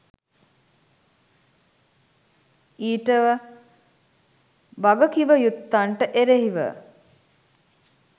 ඊට වගකිවයුත්තන්ට එරෙහිව